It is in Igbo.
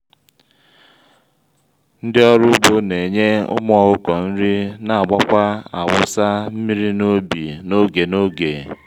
ndị ọrụ ugbo n'enye ụmụ ọkụkọ nri na agbakwa/awụsa mmiri n'ubi n'oge n'oge